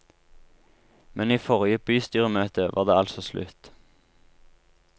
Men i forrige bystyremøte var det altså slutt.